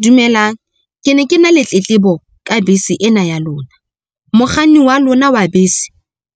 Dumelang ke ne ke na le tletlebo ka bese ena ya lona, mokganni wa lona wa bese